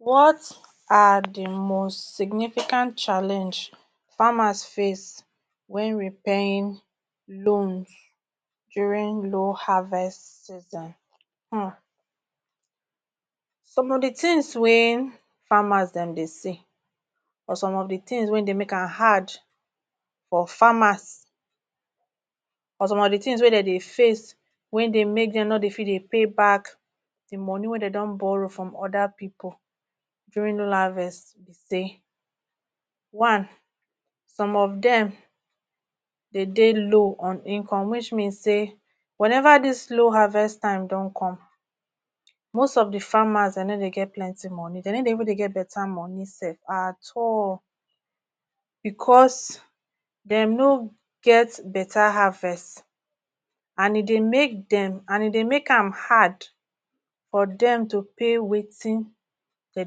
What are the most significant challenge farmers face when repaying loans during loan harvest system? um some of the things way farmers them they see, some of the things way they make am hard for farmers and some of the things way they make them no they fit pay back the moni way they don borrow from other people during harvest. One, some of them they they low on income which means say, whenever this low harvest time don come most of the farmers they even get plenty money they no they even get better money self at all because them no get better harvest and e they make and e they make am hard for them to pay wetin them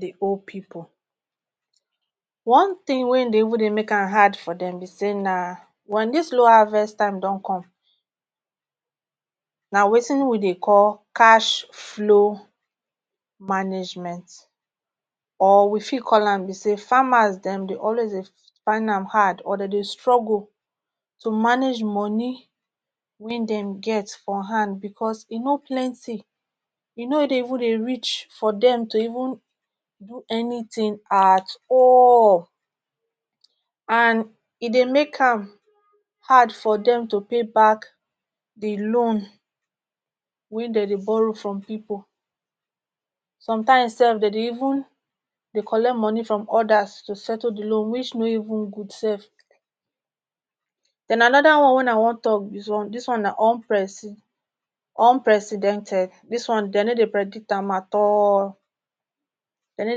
they hol people. One tin way they make am hard for them be say na when this low harvest time don come na wetin we they call cash flow management or we fit call am be say farmers them they always they fine am hard, or them they struggle to manage money way dem get for hand because e no plenty e no dey even dey reach for them to do anything at all And e they make am hard for them to pay back the loan way them they borrow from people sometimes self them they even collect money from others to settle the loan which no even good sef. Then another one way I want talk this one na unpre unprecedented. This one them no they predict am at all, them no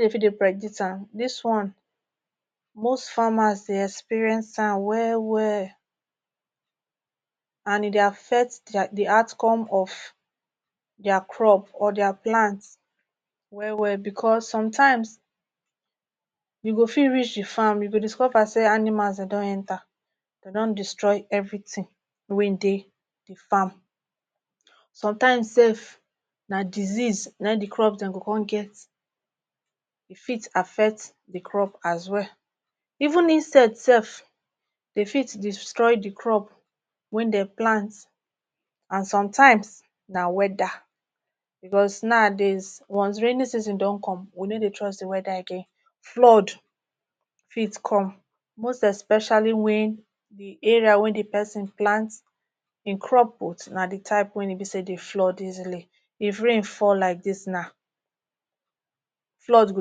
they fit they predict am, this wan most farmers dey experience am well well and e they affect the outcome of their crop or their plant well well becos sometimes you go fit reach the farm you go discover say animals them don enter them don destroy everything way e dey the farm, sometimes sef na disease na in the crop dem they come get e fit affect the crop as well even insect self dey fit destroy the crop way them plant and sometimes na weather because nowadays when raining season don come we no they trust the weather again. Flood fit come most especially wein you they area way the person plant e crop put na the type way be say e they flood easily if rain fall like this now flood go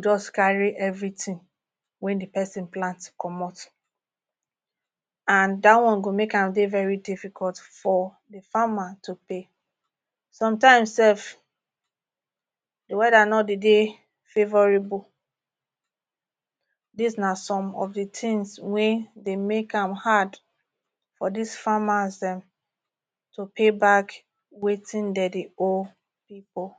just carry everything way the person plant com and that one go make am dey very difficult for the farmer today. Sometimes sef the weather no de dey favorable, this na some of the things way they make am hard for these farmers dem to pay back wetin them they hol people.